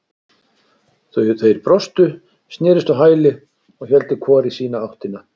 Þeir brostu, snerust á hæli og héldu hvor í sína áttina.